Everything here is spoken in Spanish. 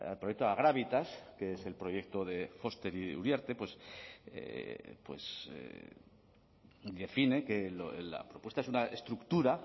proyecto agravitas que es el proyecto de foster y de uriarte pues define que la propuesta es una estructura